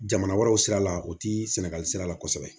Jamana wɛrɛw sira la o ti sɛnɛgali sira la kosɛbɛ